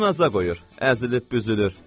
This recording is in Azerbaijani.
Özünü naza qoyur, əzilib-büzülür.